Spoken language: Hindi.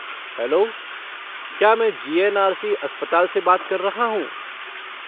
हेलो! क्या मैं जी.एन.आर.सी. अस्पताल से बात कर रहा हूँ?